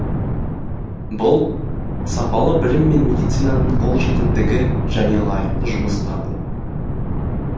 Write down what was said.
бұл сапалы білім мен медицинаның қолжетімдігі және лайықты жұмыс табу